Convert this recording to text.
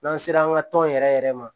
N'an sera an ka tɔn yɛrɛ yɛrɛ ma